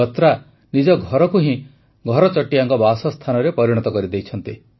ବତ୍ରା ନିଜ ଘରକୁ ହିଁ ଘରଚଟିଆଙ୍କ ବାସସ୍ଥାନରେ ପରିଣତ କରିଦେଇଛନ୍ତି